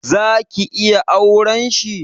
Zaki iya auren shi?